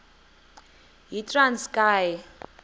yitranskayi